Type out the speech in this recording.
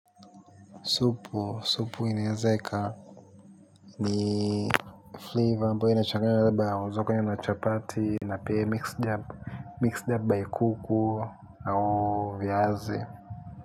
Supu, supu inaeze ika. Ni flavor ambayo inachanganywa labda waeza ukanywa na chapati, na pia mix-dab Mix-dab by kuku au viazi.